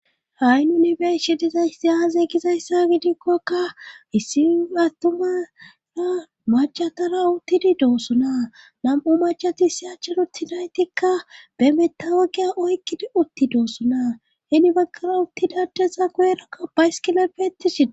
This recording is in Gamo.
Ha'i nuni be'ishshe dizayssi aaze gizayssa gidikkokka issi attumara macatara uttidi doossoona nam'u macati issi achchar uttinaytikka be mettawoqiya oykkidi uttidoossoona heni baggara uttida adeza guyerakka baysikile beetishshe dees